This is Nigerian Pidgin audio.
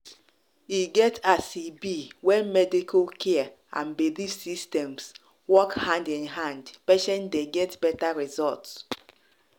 e get as e be when medical care and belief systems work hand in hand patients dey get better result.